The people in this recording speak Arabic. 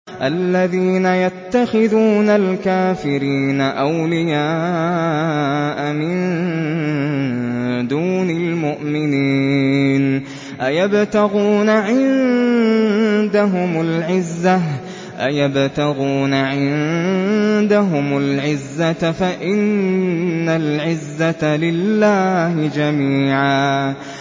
الَّذِينَ يَتَّخِذُونَ الْكَافِرِينَ أَوْلِيَاءَ مِن دُونِ الْمُؤْمِنِينَ ۚ أَيَبْتَغُونَ عِندَهُمُ الْعِزَّةَ فَإِنَّ الْعِزَّةَ لِلَّهِ جَمِيعًا